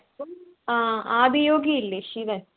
അഹ് ആദിയോഗി ഇല്ലേ ശിവൻ?